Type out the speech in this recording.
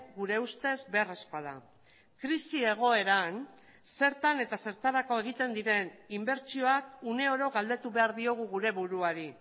gure ustez beharrezkoa da krisi egoeran zertan eta zertarako egiten diren inbertsioak uneoro galdetu behar diogu gure buruari